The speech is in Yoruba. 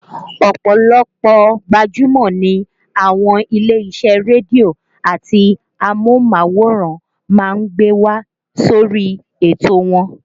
Ọ̀pọ̀lọpọ̀ gbajúmọ̀ ni àwọn ilé-isẹ́ rédíò àti amóhùnmáwòrán máa ń gbé wá sórí ètò wọn